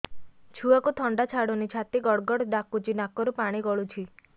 ଛୁଆକୁ ଥଣ୍ଡା ଛାଡୁନି ଛାତି ଗଡ୍ ଗଡ୍ ଡାକୁଚି ନାକରୁ ପାଣି ଗଳୁଚି